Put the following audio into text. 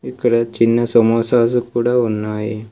ఇక్కడ చిన్న సమోసాసు కూడా ఉన్నాయి.